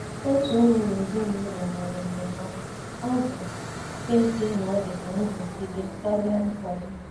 Otu onye n' ezinụlọ nyere ndụmọdụ,ọ bụ ezie na o dị ka nrụgide karịa nkwado.